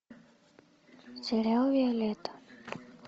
сериал виолетта